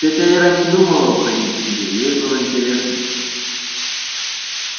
тётя ира не думала уходить к себе ей было интересно